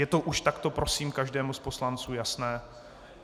Je to už takto prosím každému z poslanců jasné?